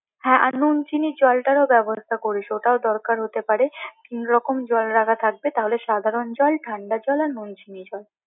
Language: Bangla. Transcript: হ্যাঁ আর নুন চিনি জলটারও ব্যবস্থা করিস ওটাও দরকার হতে পারে, তিন রকম জল রাখা থাকবে তাহলে সাধারন জল, ঠান্ডা জল, আর নুন চিনি জল